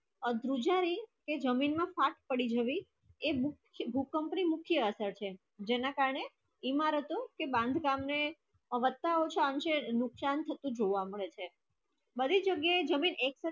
આ દ્રુજાની તે જમીન ના ફાટ પડી ગયી એ ભૂકંપ ની આશા છે જેના કારણે ઇમારતે તે બાન્ધકામે નુકસાન શકું જોવા મળે છે બધી પ્રગિયે